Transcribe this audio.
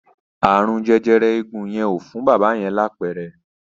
Ààrùn jẹjẹrẹ eegun yẹn ò fún bábà yẹn ni àpẹẹrẹ.